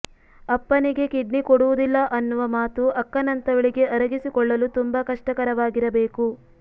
ಅಪ್ಪನಿಗೇ kidney ಕೊಡುವುದಿಲ್ಲ ಅನ್ನುವ ಮಾತು ಅಕ್ಕನಂತವಳಿಗೆ ಅರಗಿಸಿಕೊಳ್ಳಲು ತುಂಬ ಕಷ್ಟವಾಗಿರಬೇಕು